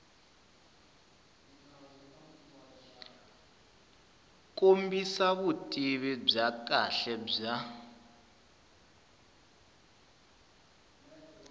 kombisa vutivi bya kahle bya